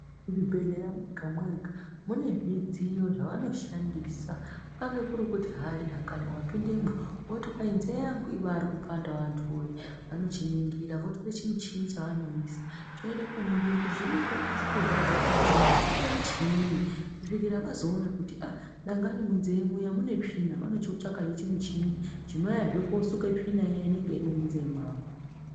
Ku zvibhedhlera mwega mwega mune zvidziyo zvavano shandisa kukange kuri kuti hai dangani wapindemwo woti kwai nzee yangu ibairi kupandawo vantu woye vanochi ningira votere muchini chavanoisa choenda ko ningira chiri ku konzeresa kurwadza kwenzee chimbori chinyii kusvikira vazoona kuti aa dangani munze muya mune tsvina vanochi tsvakahe chi muchini chino uya zvee kosuka tsvina iya inenge iri munze mwako.